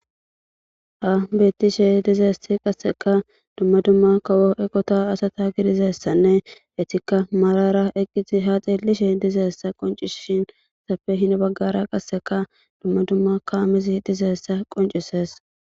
ha bettishe dizeesti qasseka dumma dumma kawo eqota asata gidizeessanne etikka marara eqqii ha xeellishi dizeessa qoncisshin safe hin baggara qasseka dumma dumma ka amizi dizeessa qoncisees